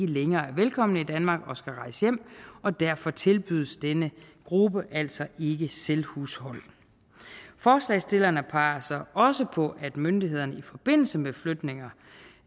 længere er velkomne i danmark og skal rejse hjem og derfor tilbydes denne gruppe altså ikke selvhushold forslagsstillerne peger så også på at myndighederne i forbindelse med flytninger